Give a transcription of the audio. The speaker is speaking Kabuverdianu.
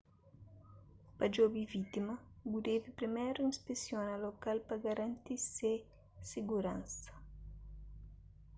pa djobe vítima bu debe priméru inspesiona lokal pa garanti se siguransa